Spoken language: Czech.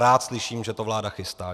Rád slyším, že to vláda chystá.